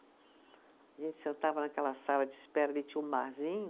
A gente sentava naquela sala de espera, ali tinha um barzinho